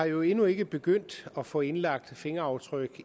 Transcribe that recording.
jo endnu ikke begyndt at få indlagt fingeraftryk